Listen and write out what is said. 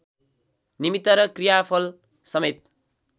निमित्त र क्रियाफल समेत